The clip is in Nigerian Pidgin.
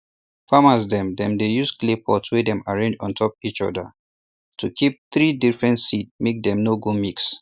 farmers dem dey use clay pot wey dem arrange untop each other to keep three different seed make dem no go mix